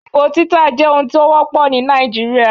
Ìbò títà jẹ́ ohun tó wọ́pọ̀ ní Nàìjíríà.